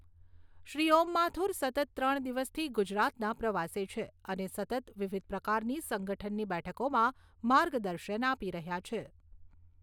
શ્રી ઓમ માથુર સતત ત્રણ દિવસથી ગુજરાતના પ્રવાસે છે અને સતત વિવિધ પ્રકારની સંગઠનની બેઠકોમાં માર્ગદર્શન આપી રહ્યા છે.